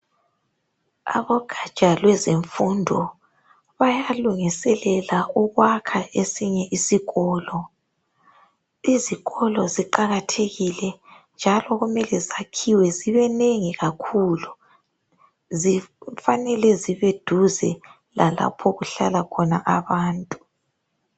Abogatsha lwezemfundo bayalungiselela ukwakha esinye isikolo izikolo ziqakathekile njalo kumele zakhiwe zibenengi kakhulu kufanele zibeduze lalapho okuhlala khona abantu.